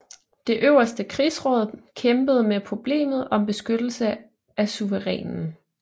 Det øverste krigsråd kæmpede med problemet om beskyttelse af suverænen